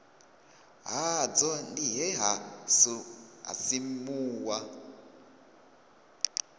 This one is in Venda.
hadzo ndi he ha simuwa